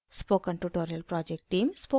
spoken tutorial project team: